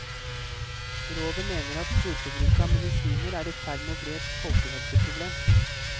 Rådet mener at storforbruket av medisiner er i ferd med å bli et folkehelseproblem.